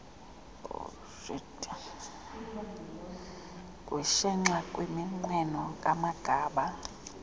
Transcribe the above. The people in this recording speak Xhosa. kushenxa kwiminqweno kamagaba